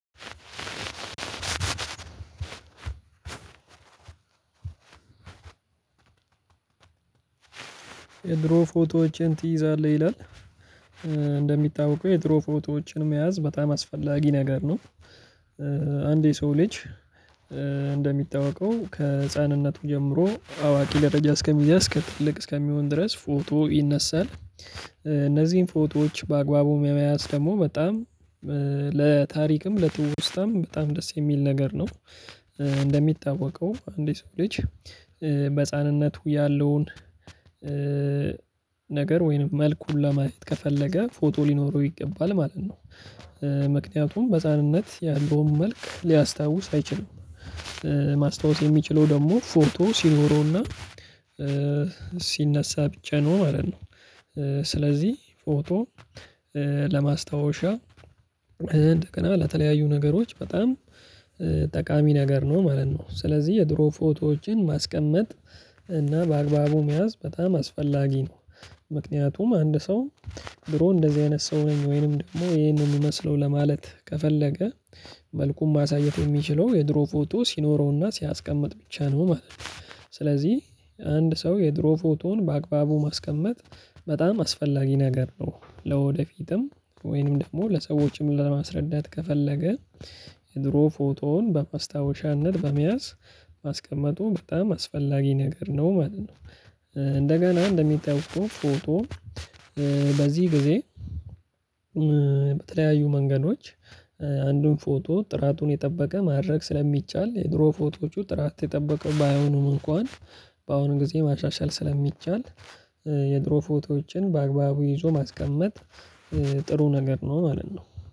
አስር የድሮ ፎቶዎችን ትይዛለህ ይላል እንደሚታወቀው የድሮ ፎቶዎችን መያዝ በጣም አስፈላጊ ነገር ነው። አንድ የሰው ልጅ እንደሚታወቀው ከህፃንነቱ ጀምሮ አዋቂ ለረጅም እስከሚያደርግ እስከ ትልቅ እስከሚሆን ድረስ ፎቶ ይነሳል። እነዚህን ፎቶዎች በአግባቡ ለመያዝ ደግሞ በጣም ለታሪክም ለትውስታም በጣም ደስ የሚል ነገር ነው። እንደሚታወቀው አንድ የሰው ልጅ በህፃንነቱ ያለውን ነገር ወይንም መልኩ ለማየት ከፈለገ ፎቶ ሊኖረው ይገባል ማለት ነው። ምክንያቱም ህፃንነት ያለውን መልክ ሊያስታውስ አይችልም። ማስታወስ የሚችለው ደግሞ ፎቶ ሲኖረውና ሲነሳ ብቻ ነው ማለት ነ። ው ስለዚህ ፎቶ ለማስታወሻ እንደገና ለተለያዩ ነገሮች በጣም ጠቃሚ ነገር ነው ማለት ነው። ስለዚህ የድሮ ፎቶዎችን ማስቀመጥ እና በአግባቡ መያዝ በጣም አስፈላጊ ነው ምክንያቱም አንድ ሰው ድሮ እንደዚህ አይነት ሰው ነኝ ወይንም ደግሞ ይሄን ነው የምመስለው ለማለት ከፈለገ መልኩን ማሳየት የሚችለው የድሮ ፎቶ ሲኖረውና ሲያስቀምጥ ብቻ ነው ማለት ነው ስለዚህ አንድ ሰው የድሮ ፎቶን በአግባቡ ማስቀመጥ በጣም አስፈላጊ ነገር ነው። ለወደፊትም ወይንም ደግሞ ለሰዎችም ለማስረዳት ከፈለገ የድሮ ፎቶውን በማስታወሻነት በመያዝ ማስቀመጡ በጣም አስፈላጊ ነገር ነው ማለት ነው። እንደሚታወቀው ፎቶ በዚህ ጊዜ በተለያዩ መንገዶች አንዱን ፎቶ ጥራቱን የጠበቀ ማድረግ ስለሚቻል የድሮ ፎቶዎቹ ጥራት የጠበቀ ባይሆኑም እንኳን በአሁኑ ጊዜ ማሻሻል ስለሚቻል የድሮ ፎቶዎችን በአግባቡ ይዞ ማስቀመጥ ጥሩ ነገር ነው ማለት ነው።